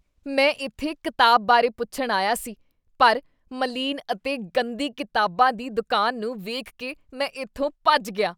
ਮੈਂ ਇੱਥੇ ਕਿਤਾਬ ਬਾਰੇ ਪੁੱਛਣ ਆਇਆ ਸੀ ਪਰ ਮਲੀਨ ਅਤੇ ਗੰਦੀ ਕਿਤਾਬਾਂ ਦੀ ਦੁਕਾਨ ਨੂੰ ਵੇਖ ਕੇ ਮੈਂ ਇੱਥੋਂ ਭੱਜ ਗਿਆ।